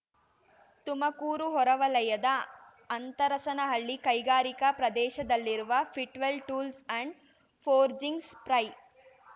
ತುಮಕೂರು ಹೊರವಲಯದ ಅಂತರಸನಹಳ್ಳಿ ಕೈಗಾರಿಕಾ ಪ್ರದೇಶದಲ್ಲಿರುವ Fitwell tools and forgings fry